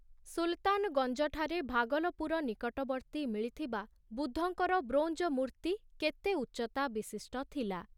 ସୁଲତାନଗଞ୍ଜଠାରେ ଭାଗଲପୁର ନିକଟବର୍ତ୍ତୀ ମିଳିଥିବା ବୁଦ୍ଧଙ୍କର ବ୍ରୋଞ୍ଜ ମୂର୍ତ୍ତି କେତେ ଉଚ୍ଚତା ବିଶିଷ୍ଟ ଥିଲା?